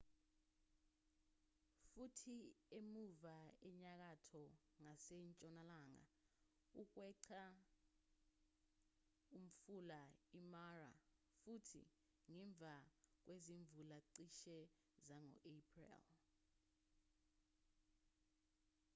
futhi emuva enyakatho ngasentshonalanga ukweqa umfula imara futhi ngemva kwezimvula cishe zango april